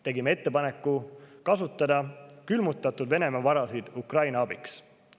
Tegime ka ettepaneku kasutada külmutatud Venemaa varasid Ukraina abistamiseks.